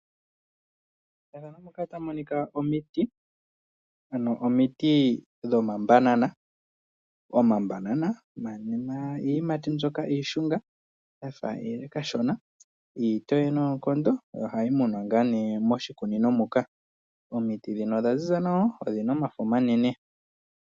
Methano ndika otamumonika omiti dhomambana ominene nodhaziza nawa